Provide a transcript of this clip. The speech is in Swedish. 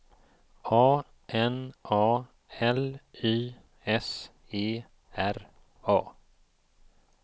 A N A L Y S E R A